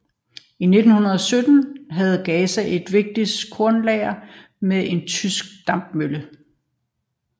I 1917 havde Gaza et vigtigt kornlager med en tysk dampmølle